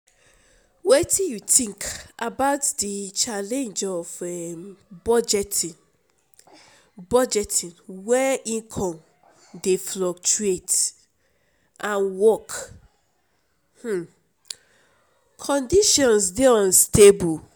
wetin you think about di challenge of budgeting budgeting when income dey fluctuate and work um conditions dey unstable?